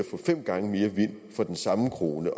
få fem gange mere vind for den samme krone